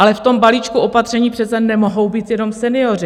Ale v tom balíčku opatření přece nemohou být jenom senioři.